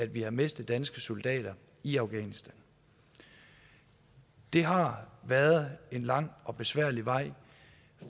vi har mistet danske soldater i afghanistan det har været en lang og besværlig vej